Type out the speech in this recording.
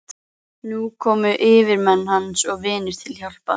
Og nú komu yfirmenn hans og vinir til hjálpar.